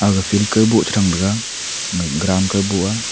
ga field kawboh tethrang tega grand kawboh a.